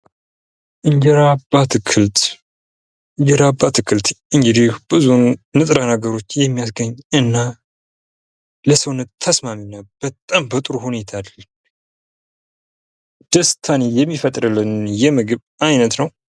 እንጀራ በአትክል እንጀራ በአትክልት እንግዲህ ብዙም ንጥረ ነገሮችን የሚያስገኝና ለሰውነት ተስማሚናነው ::በጣም በጥሩ ሁኔታ ደስታን የሚፈጥርልን የምግብ አይነት ነው ::